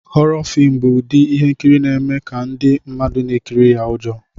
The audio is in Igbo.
Hhoro fim bụ ụdị ihe nkiri na-eme ka ndị mmadụ na-ekiri ya ụjọ.